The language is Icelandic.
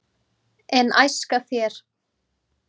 en æska þér